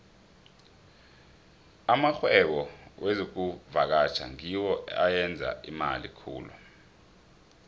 amarhwebo wezokuvakatjha ngiwo ayenza imali khulu